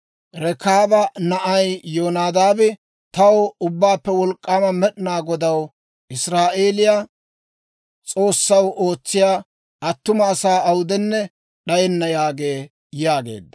Rekaaba na'ay Yonadaabi taw Ubbaappe Wolk'k'aama Med'inaa Godaw Israa'eeliyaa S'oossaw ootsiyaa attuma asaa awudenne d'ayenna› yaagee» yaageedda.